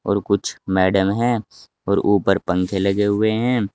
और कुछ मैडम है और ऊपर पंखे लगे हुए है।